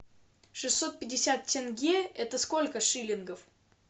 шестьсот пятьдесят тенге это сколько шиллингов